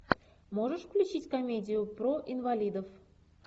можешь включить комедию про инвалидов